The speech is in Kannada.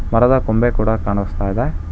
ಮರದ ಕೊಂಬೆ ಕೂಡ ಕಾಣಿಸ್ತಾ ಇದೆ.